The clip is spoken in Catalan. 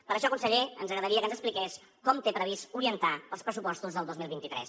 per això conseller ens agradaria que ens expliqués com té previst orientar els pressupostos del dos mil vint tres